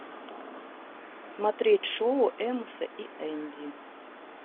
смотреть шоу эмоса и энди